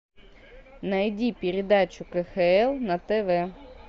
найди передачу кхл на тв